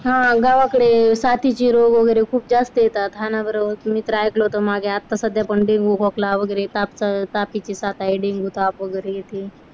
हा गावाकडे साथीचे रोग वगैरे खूप जास्त येतात. हा ना बरं. मी तर ऐकलं होतं. मागे आता सध्या पण डेंगू खोकला वगैरे ताप तापीची साथ आहे. डेंगू ताप वगैरे येते.